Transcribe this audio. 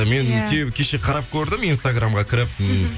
мен себебі кеше қарап көрдім инстаграммға кіріп м